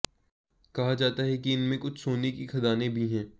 कहा जाता है कि इनमें कुछ सोने की खदानें भी हैं